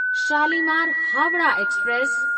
Shalimar Howrah express